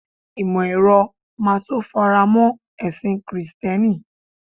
imo ero ma to faramo ẹsìn Kristẹni